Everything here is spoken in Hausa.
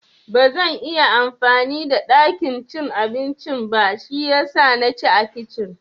Bazan iya amfani da ɗakin cin abincin ba shiyasa na ci a kicin